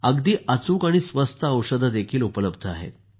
अगदी अचूक आणि स्वस्त औषधंही उपलब्ध आहेत